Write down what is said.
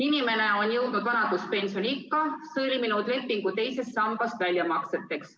Inimene on jõudnud vanaduspensioniikka ja sõlminud lepingu teisest sambast väljamakseteks.